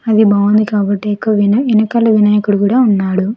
అది బాగుంది కాబట్టి ఎకు-- వీన-- వెనుకాల వినాయకుడు కూడా ఉన్నాడు.